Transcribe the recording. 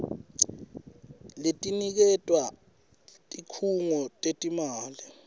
letiniketwa tikhungo tetimali